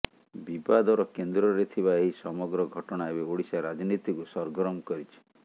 ବିବାଦର କେନ୍ଦ୍ରରେ ଥିବା ଏହି ସମଗ୍ର ଘଟଣା ଏବେ ଓଡ଼ିଶା ରାଜନୀତିକୁ ସରଗରମ କରିଛି